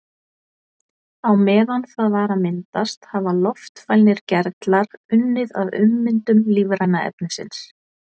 Á meðan það var að myndast hafa loftfælnir gerlar unnið að ummyndun lífræna efnisins.